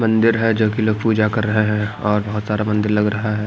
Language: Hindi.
मंदिर है जो कि लोग पूजा कर रहे हैं और बहुत सारा मंदिर लग रहा है।